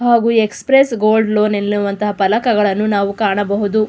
ಹಾಗು express gold loan ಎನ್ನುವಂಥ ಫಲಕಗಳನ್ನು ನಾವು ಕಾಣಬಹುದು.